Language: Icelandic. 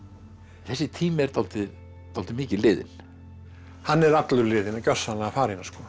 þessi tími er dálítið dálítið mikið liðinn hann er allur liðinn gjörsamlega farinn